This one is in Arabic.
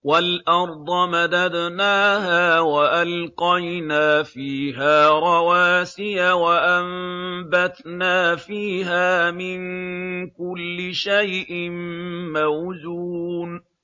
وَالْأَرْضَ مَدَدْنَاهَا وَأَلْقَيْنَا فِيهَا رَوَاسِيَ وَأَنبَتْنَا فِيهَا مِن كُلِّ شَيْءٍ مَّوْزُونٍ